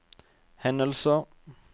hendelser